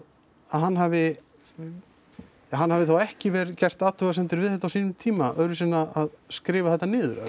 hann hafi ja hann hafi þá ekki verið gert athugasemdir við þetta á sínum tíma öðru vísi en að skrifa þetta niður